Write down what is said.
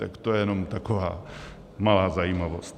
Tak to je jenom taková malá zajímavost.